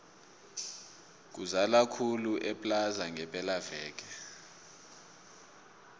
kuzala khulu eplaza ngepela veke